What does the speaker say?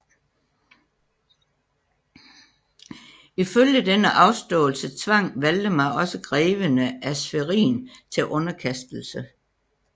Ifølge denne afståelse tvang Valdemar også greverne af Schwerin til underkastelse